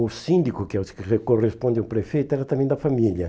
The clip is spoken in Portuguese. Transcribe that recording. O síndico, que é o que corresponde ao prefeito, era também da família.